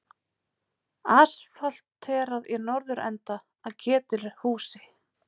Asfalterað í norðurenda að Ketilhúsi.